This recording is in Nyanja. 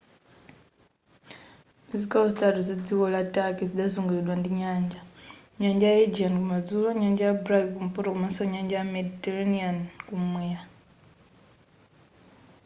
zigawo zitatu za dziko la turkey zidazunguliridwa ndi nyanja nyanja ya aegean kumadzulo nyanja ya black kumpoto komanso nyanja ya mediterranean kumwera